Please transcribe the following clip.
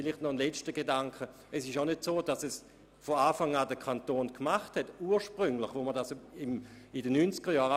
Nun noch ein letzter Gedanke: Es ist auch nicht so, dass der Kanton diese Versände von Anfang an finanziert hat.